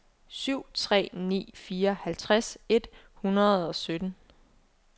syv tre ni fire halvtreds et hundrede og sytten